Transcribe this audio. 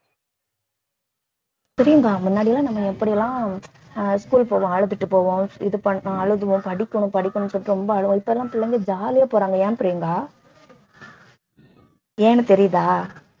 பிரியங்கா முன்னாடிலாம் நம்ம எப்படிலாம் அஹ் school போவோம் அழுதுட்டு போவோம் இது பண்ணோம் அழுவோம் படிக்கணும் படிக்கணும் சொல்லிட்டு ரொம்ப அழுவோம் இப்ப எல்லாம் பிள்ளைங்க ஜாலியா போறாங்க ஏன் பிரியங்கா ஏன்னு தெரியுதா